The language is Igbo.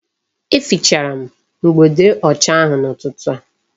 E fichara m mgbode ọcha ahụ n'ụtụtụ